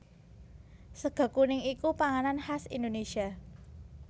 Sega kuning iku panganan khas Indonésia